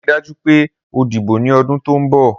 Rii daju pe o dibo ni ọdun to nbo!